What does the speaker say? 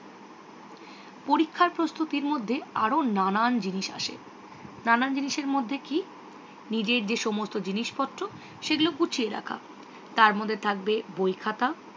পরীক্ষার প্রস্তুতির মধ্যে আরও নানান জিনিস আছে নানান জিনিসের মধ্যে নিজের যে সমস্ত জিনিসপত্র সেগুলো গুছিয়ে রাখা। তারমধ্যে থাকবে বইখাতা